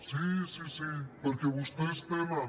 sí sí sí perquè vostès tenen